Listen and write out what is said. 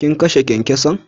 Kin kashe kyankyason?